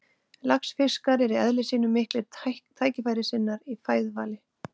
Laxfiskar eru í eðli sínu miklir tækifærissinnar í fæðuvali.